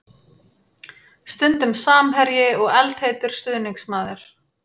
Stundum samherji og eldheitur stuðningsmaður.